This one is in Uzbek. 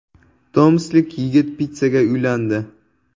Tomsklik yigit pitssaga uylandi.